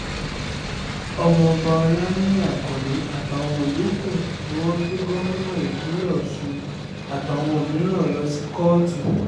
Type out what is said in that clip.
ọmọọba olaniyi akande àtàwọn yòókù ni wọ́n gbé gómìnà ìpínlẹ̀ ọ̀ṣun àtàwọn mìíràn lọ sí kóòtù